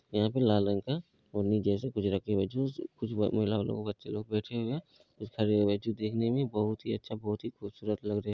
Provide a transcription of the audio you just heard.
यहाँ पे लाल रंग का ओढ़नी जैसे कुछ रखे हुए हैं जो उस कुछ महिलाओं लोग बच्चे लोग बैठे हुए हैं। कुछ खड़े हुए हैं जो देखने में बहोत ही अच्छा बहोत ही खूबसूरत लग रहे --